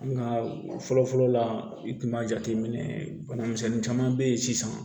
Nka fɔlɔ fɔlɔ la i kun b'a jateminɛ bana misɛnnin caman be yen sisan